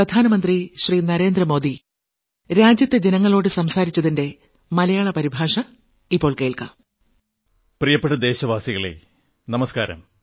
പ്രിയപ്പെട്ട ദേശവാസികളേ നമസ്കാരം